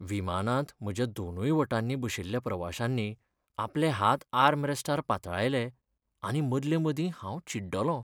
विमानांत म्हज्या दोनूय वटांनी बशिल्ल्या प्रवाशांनी आपले हात आर्मरॅस्टार पातळायले आनी मदले मदीं हांव चिड्डलों.